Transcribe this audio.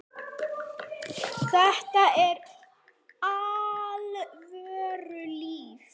Þetta var alvöru líf.